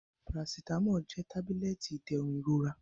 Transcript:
Paracetamolu jẹ tabulẹti iderun irora.